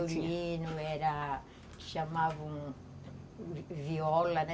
Era violino, era... chamava um viola, né?